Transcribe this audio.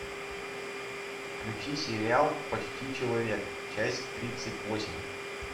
включи сериал почти человек часть тридцать восемь